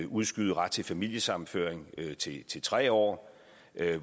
udskyde retten til familiesammenføring til tre år